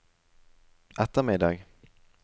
ettermiddag